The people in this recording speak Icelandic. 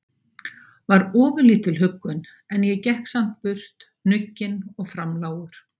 var ofurlítil huggun, en ég gekk samt burt hnugginn og framlágur.